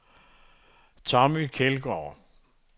Tommy Kjeldgaard